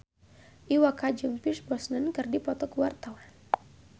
Iwa K jeung Pierce Brosnan keur dipoto ku wartawan